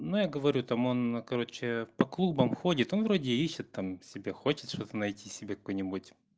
ну я говорю там он короче по клубам ходит он вроде ищет там себе хочет что-то найти себе кокой-нибудь